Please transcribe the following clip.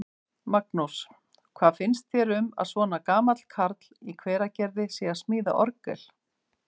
Magnús: Hvað finnst þér um að svona gamall karl í Hveragerði sé að smíða orgel?